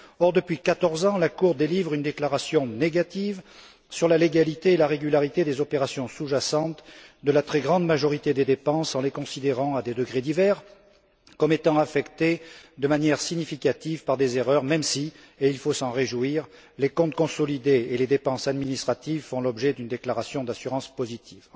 Or, depuis quatorze ans, la Cour délivre une déclaration négative sur la légalité et la régularité des opérations sous jacentes de la très grande majorité des dépenses en les considérant, à des degrés divers, comme étant affectées de manière significative par des erreurs même si, et il faut s'en réjouir, les comptes consolidés et les dépenses administratives font l'objet d'une déclaration d'assurance positive.